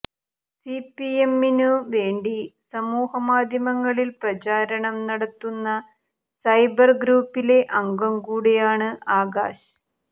സിപിഐഎമ്മിനു വേണ്ടി സമൂഹമാധ്യമങ്ങളിൽ പ്രചാരണം നടത്തുന്ന സൈബർ ഗ്രൂപ്പിലെ അംഗം കൂടിയാണ് ആകാശ്